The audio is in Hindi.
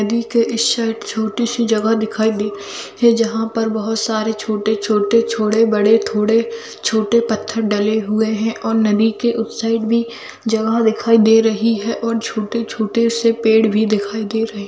नदी के इस साइड छोटी सी जगह दिखाई दे जहाँ पर बहुत सारे छोटे छोटे छोड़े बड़े थोड़े छोटे पत्थर डले हुये है और नदी के उस साइड में जगह दिखाई दे रही है और छोटे -छोटे से पेड़ भी दिखाई दे रही है।